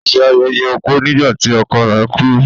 Ó se ayẹyẹ opó nígbà tí ọkọ rẹ̀ kú.